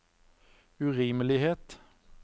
urimelighet